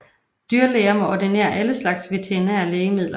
Dyrlæger må ordinere alle slags veterinære lægemidler